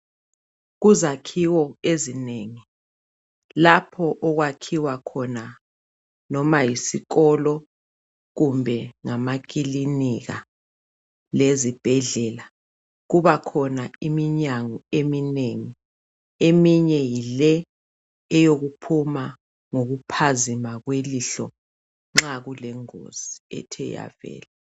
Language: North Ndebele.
Kuzakhiwo ezinengi lapho okwakhiwa khona, noma yisikolo kumbe ngamakilinika leZibhedlela kuba khona iminyango eminengi eminye yile eyokuphuma ngokuphazima kwelihlo nxa kulengozi ethe yavela